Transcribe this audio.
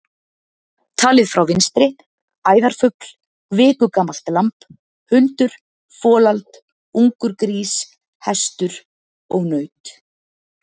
Talið frá vinstri: æðarfugl, viku gamalt lamb, hundur, folald, ungur grís, hestur og naut.